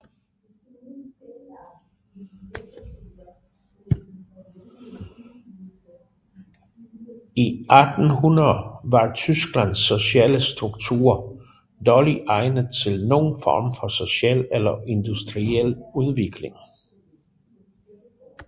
I 1800 var Tysklands sociale struktur dårligt egnet til nogen form for social eller industriel udvikling